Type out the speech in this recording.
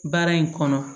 Baara in kɔnɔ